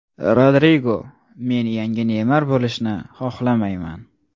Rodrigo: Men yangi Neymar bo‘lishni xohlamayman.